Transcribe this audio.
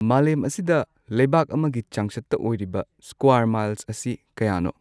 ꯃꯥꯂꯦꯝ ꯑꯁꯤꯗ ꯂꯩꯕꯥꯛ ꯑꯃꯒꯤ ꯆꯥꯡꯆꯠꯇ ꯑꯣꯏꯔꯤꯕ ꯁ꯭ꯀ꯭ꯋꯥꯔ ꯃꯥꯏꯜꯁ ꯑꯁꯤ ꯀꯌꯥꯅꯣ